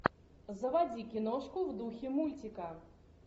заводи киношку в духе мультика